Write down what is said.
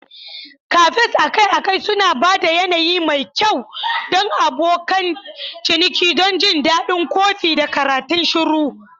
Cafes akai-akai suna ba da yanayi mai kyau don abokan ciniki don jin daɗin kofi da karatun shiru.